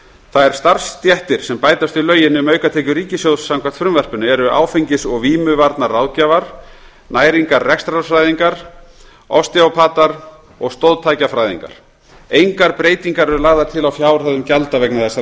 þær starfsstéttir sem bætast við lögin um aukatekjur ríkissjóðs samkvæmt frumvarpinu eru áfengis og vímuvarnaráðgjafar næringarrekstrarfræðingar osteópatar og stoðtækjafræðingar engar breytingar eru lagðar til á fjárhæðum gjalda vegna þessara